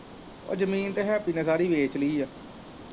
ਜਮੀਨ ਤੇ ਹੈਪੀ ਨੇ ਸਾਰੀ ਦੇਤੀ ਆ।